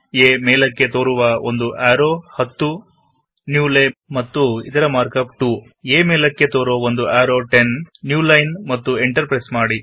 ಏ ಮೇಲೆಕ್ಕೆ ತೋರುವ ಒಂದು ಆರೊ 10 ನ್ಯೂ ಲೈನ್ ಮತ್ತು ಎಂಟರ್ ಪ್ರೆಸ್ಸ್ ಮಾಡಿ